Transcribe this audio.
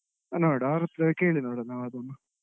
ನೋಡ್ವ ಅವರತ್ರ ಕೇಳಿ ನೋಡ್ವ ನಾವು ಅದನ್ನು.